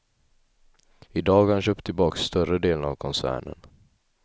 I dag har han köpt tillbaks större delen av koncernen.